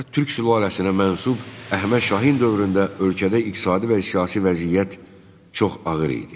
Qacar Türk sülaləsinə mənsub Əhməd Şahin dövründə ölkədə iqtisadi və siyasi vəziyyət çox ağır idi.